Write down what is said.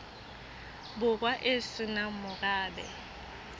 borwa e se nang morabe